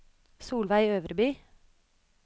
Solveig Øverby